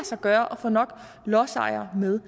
sig gøre at få nok lodsejere med